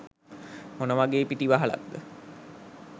මොන වගේ පිටිවහලක්ද?